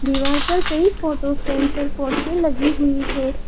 दीवार पर कई फोटो फ्रेम और पोस्टर लगी हुई है।